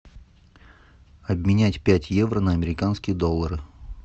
обменять пять евро на американские доллары